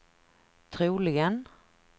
troligen